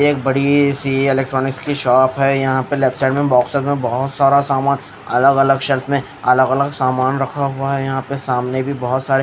एक बड़ी सी इलेक्ट्रॉनिक्स की शॉप है यहां पर लेफ्ट साइड में बॉक्सेस में बहोत सारा सामान अलग अलग शेप में अलग अलग सेल्फ सामान रखा हुआ है यहां पर सामने भी बहोत सारे--